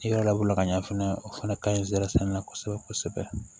I yɛrɛ lawala ka ɲɛ fɛnɛ o fana ka ɲi sɛrisɛn na kosɛbɛ kosɛbɛ